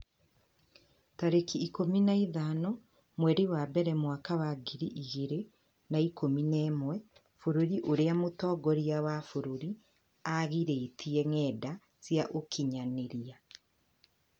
tarĩki ikũmi na ithano mweri wa mbere mwaka wa ngiri igĩrĩ na ikũmi na ĩmwe Bũrũri ũrĩa mũtongoria wa bũrũri aagirĩtie ngenda cia ũkinyanĩria